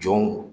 Jɔnw